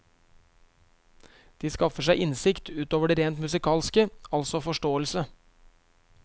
De skaffer seg innsikt ut over det rent musikalske, altså forståelse.